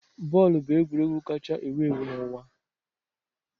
Bọọlụ bụ egwuregwu kacha ewu ewu n'ụwa